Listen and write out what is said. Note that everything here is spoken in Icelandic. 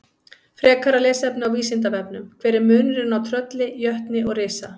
Frekara lesefni á Vísindavefnum: Hver er munurinn á trölli, jötni og risa?